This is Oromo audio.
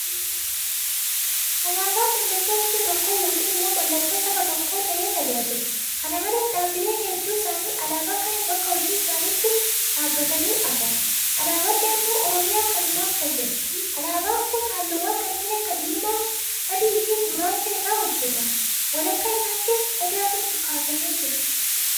Alaabaan mallattoo biyya tokkoo yookiin immoo mallattoo saba tokkoo ta'ee tajaajila. Kana malees dhaabbilee hedduun isaanii alaabaa kana bakka hojii isaaniitti dhaabbatanii agarra. Alaabaan naannoo Oromiyaas kanumaaf fayyada. Alaabaan kun halluuwwan kanneen akka Diimaa, Adiifi Gurraacha irraa hojjetame. Walakkaa isaattis Odaatu kaafamee jira.